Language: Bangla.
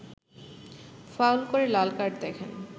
ফাউল করে লাল কার্ড দেখেন